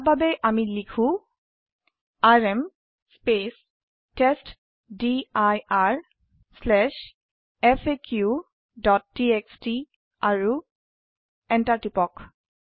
ঈয়াৰ বাবে আমি লিখো আৰএম testdirfaqটিএক্সটি আৰু এন্টাৰ টিপক